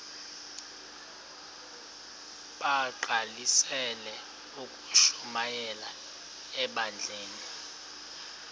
bagqalisele ukushumayela ebandleni